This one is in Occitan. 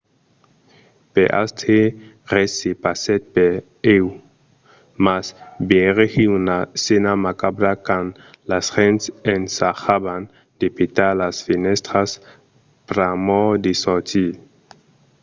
per astre res se passèt per ieu mas vegèri una scèna macabra quand las gents ensajavan de petar las fenèstras pr'amor de sortir